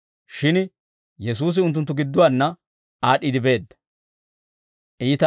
Shin Yesuusi unttunttu gidduwaanna aad'd'iide beedda.